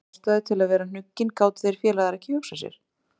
Léttvægari ástæðu til að vera hnuggin gátu þeir félagar ekki hugsað sér.